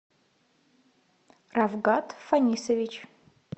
равгат фанисович